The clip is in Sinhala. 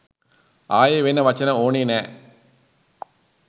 ආයෙ වෙන වචන ඕනෙ නෑ